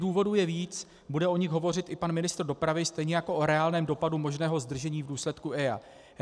Důvodů je víc, bude o nich hovořit i pan ministr dopravy, stejně jako o reálném dopadu možného zdržení v důsledku EIA.